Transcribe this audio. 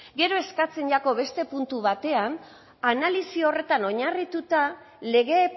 gero eskatzen jako beste puntu batean analisi horretan oinarrituta lege